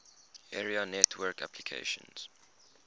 area network applications